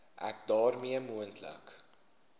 ek daarmee moontlike